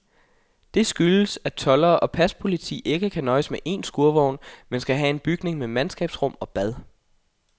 Det skyldes, at toldere og paspoliti ikke kan nøjes med en skurvogn, men skal have en bygning med mandkabsrum og bad.